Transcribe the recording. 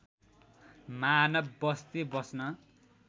मानव बस्ती बस्न